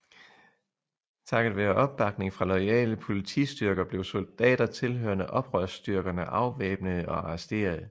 Takket være opbakning fra loyale politistyrker blev soldater tilhørende oprørsstyrkerne afvæbnede og arresterede